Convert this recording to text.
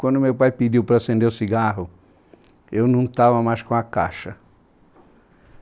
Quando meu pai pediu para acender o cigarro, eu não estava mais com a caixa.